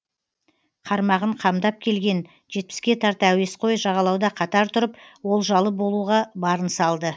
қармағын қамдап келген жетпіске тарта әуесқой жағалауда қатар тұрып олжалы болуға барын салды